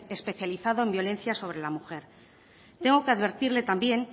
especializado en violencia sobre la mujer tengo que advertirle también